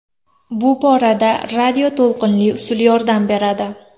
Bu borada radioto‘lqinli usul yordam beradi.